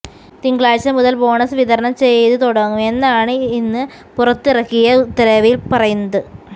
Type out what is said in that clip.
തിങ്കളാഴ്ച മുതൽ ബോണസ് വിതരണം ചെയ്ത് തുടങ്ങും എന്നാണ് ഇന്ന് പുറത്തിറക്കിയ ഉത്തരവിൽ പറയുന്നത്